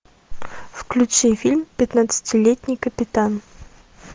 включи фильм пятнадцатилетний капитан